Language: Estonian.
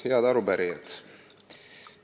Head arupärijad!